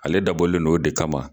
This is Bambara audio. Ale dabɔlen non o de kama.